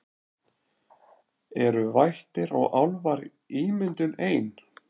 Eru vættir og álfar ímyndun ein